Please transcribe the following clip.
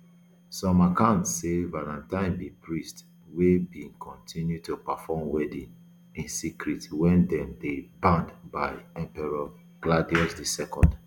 some accounts say valentine be priest wey bin kontinu to perform weddings in secret wen dem dey banned by emperor claudius ii